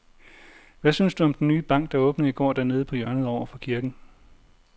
Hvad synes du om den nye bank, der åbnede i går dernede på hjørnet over for kirken?